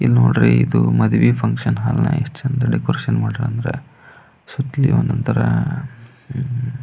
ಇದು ನೋಡ್ರಿ ಇದು ಮದುವೆ ಫುನ್ಕ್ಷನ್ ಹಾಲ್ ನ ಎಷ್ಟು ಚಂದ್ ಡೆಕೋರೇಷನ್ ಮಾಡಾರೆ ಅಂದ್ರೆ ಒಂದೊಂದ್ ತರ--